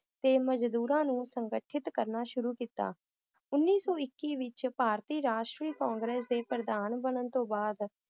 ਤੇ ਮਜਦੂਰਾਂ ਨੂੰ ਸੰਗਠਿਤ ਕਰਨਾ ਸ਼ੁਰੂ ਕੀਤਾ l ਉੱਨੀ ਸੌ ਇੱਕੀ ਵਿਚ ਭਾਰਤੀ ਰਾਸ਼ਟਰੀ ਕਾਂਗਰਸ ਦੇ ਪ੍ਰਧਾਨ ਵਿਚ ਬਣਨ ਤੋਂ ਬਾਅਦ